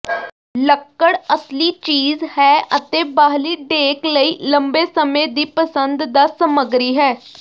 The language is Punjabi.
ਲੱਕੜ ਅਸਲੀ ਚੀਜ਼ ਹੈ ਅਤੇ ਬਾਹਰੀ ਡੇਕ ਲਈ ਲੰਬੇ ਸਮੇਂ ਦੀ ਪਸੰਦ ਦਾ ਸਮਗਰੀ ਹੈ